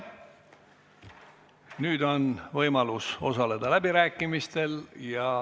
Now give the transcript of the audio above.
Nüüd on võimalus osaleda läbirääkimistel.